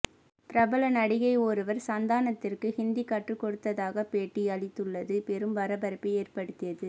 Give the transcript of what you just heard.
பிரபல நடிகை ஒருவர் சந்தானத்திற்கு ஹிந்தி கற்றுக் கொடுத்ததாக பேட்டி அளித்துள்ளது பெரும் பரபரப்பை ஏற்படுத்தியது